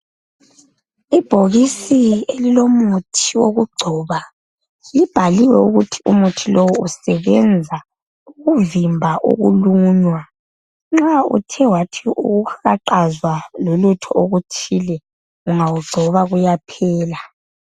Ibhokisi elilomuthi wokugcoba libhaliwe ukuthi umuthi lowo usebenza ukuvimba ukulunywa. Nxa uthe wathi uwuhaqaza lolutho oluthile ungawugcoba kuyaphela.